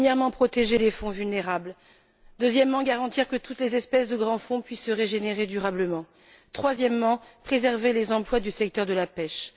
Premièrement, protéger les fonds vulnérables, deuxièmement, garantir que toutes les espèces des grands fonds puissent se régénérer durablement, troisièmement, préserver les emplois du secteur de la pêche.